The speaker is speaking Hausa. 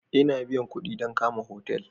Ina biyan kuɗi dan kama hotel